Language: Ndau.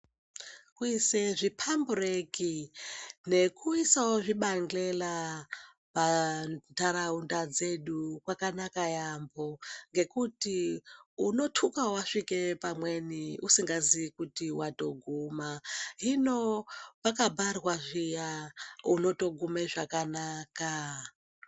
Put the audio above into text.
Kuise zvipambureki nekuisawo zvibahlela pandaraunda dzedu kwakanaka yamho ngekuti unotuka wasvika pamweni usingaziyi kuti watoguma, hino pakabharwa zviya unotogume zvakanaka.